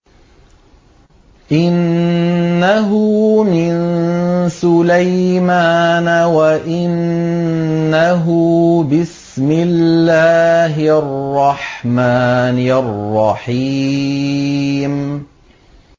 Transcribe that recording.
إِنَّهُ مِن سُلَيْمَانَ وَإِنَّهُ بِسْمِ اللَّهِ الرَّحْمَٰنِ الرَّحِيمِ